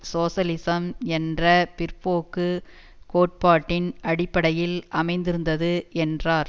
சோசலிசம் என்ற பிற்போக்குக் கோட்பாட்டின் அடிப்படையில் அமைந்திருந்தது என்றார்